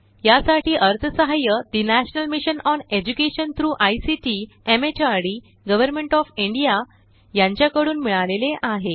यासाठी अर्थसहाय्य ठे national mission on education through ICT MHRD government of India यांचा कडून मिळाले आहे